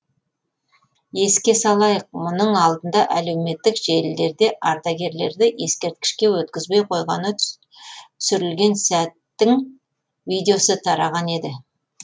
еске салайық мұның алдында әлеуметтік желілерде ардагерді ескерткішке өткізбей қойғаны түсірілген сәттің видеосы тараған еді